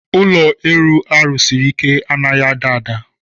Ụlọ elu a rụsiri ike a naghị ada ada.